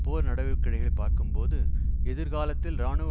போர் நடவடிக்கைகளை பார்க்கும்போது எதிர்காலத்தில் இராணுவ